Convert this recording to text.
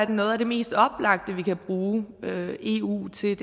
noget af det mest oplagte vi kan bruge eu til